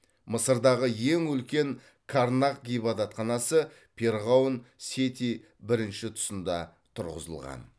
мысырдағы ең үлкен карнак ғибадатханасы перғауын сети бірінші тұсында тұрғызылған